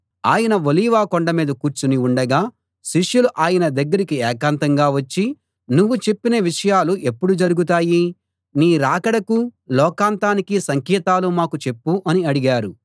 ఆయన ఒలీవ కొండమీద కూర్చుని ఉండగా శిష్యులు ఆయన దగ్గరికి ఏకాంతంగా వచ్చి నువ్వు చెప్పిన విషయాలు ఎప్పుడు జరుగుతాయి నీ రాకడకూ లోకాంతానికీ సంకేతాలు మాకు చెప్పు అని అడిగారు